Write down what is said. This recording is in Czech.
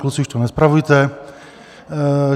Kluci, už to nespravujte.